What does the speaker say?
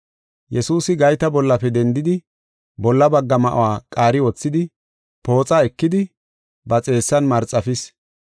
Yesuusi gayta bollafe dendidi bolla bagga ma7uwa qaari wothidi, pooxa ekidi ba xeessan marxafis.